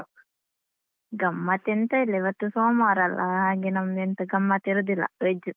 ಗಮ್ಮತ್ ಎಂತ ಇಲ್ಲ ಇವತ್ತು ಸೋಮವಾರ ಅಲ್ಲಾ ಹಾಗೆ ನಮ್ದು ಎಂತ ಗಮ್ಮತ್ ಇರುದಿಲ್ಲ veg.